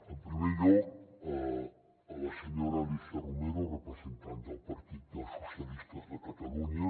en primer lloc a la senyora alícia romero representant del partit dels socialistes de catalunya